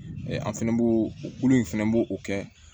an fɛnɛ b'o o kolo in fɛnɛ b'o o kɛ